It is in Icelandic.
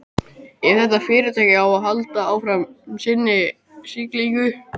Ef þetta fyrirtæki á að halda áfram sinni siglingu.